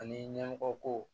Ani ɲɛmɔgɔ ko